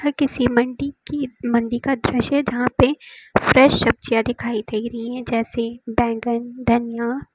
किसी मंडी की मंडी का दृश्य यहां पे फ्रेश सब्जियां दिखाई दे रही हैं जैसे बैंगन धनिया।